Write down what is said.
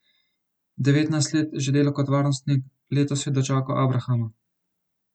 Devetnajst let že dela kot varnostnik, letos je dočakal abrahama.